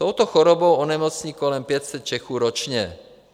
Touto chorobou onemocní kolem 500 Čechů ročně.